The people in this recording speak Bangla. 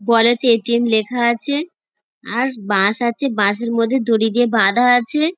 ওয়ালেট -এ এ.টি.এম লেখা আছে আর বাঁশ আছে বাঁশের মধ্যে দড়ি দিয়ে বাঁধা আছে।